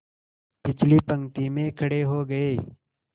पिछली पंक्ति में खड़े हो गए